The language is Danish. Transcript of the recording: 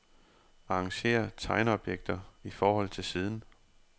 Arrangér tegneobjekter i forhold til siden.